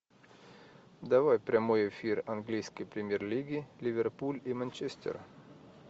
давай прямой эфир английской премьер лиги ливерпуль и манчестер